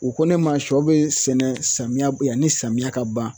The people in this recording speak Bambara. U ko ne ma sɔ bɛ sɛnɛ samiya yanni samiya ka ban